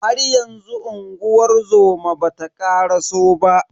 Haryanzu unguwar zoma bata karaso ba.